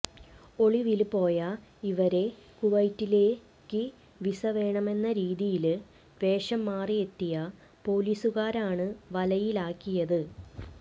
ഒളിവില് പോയ ഇവരെ കുവൈറ്റിലേക്ക് വിസ വേണമെന്ന രീതിയില് വേഷം മാറിയെത്തിയ പൊലീസുകാരാണ് വലയിലാക്കിയത്